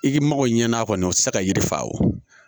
I ka mago ɲɛna kɔni o tɛ se ka yiri fa o